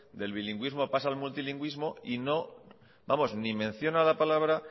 del bilingüismo pasa al multilingüismo y ni menciona la palabra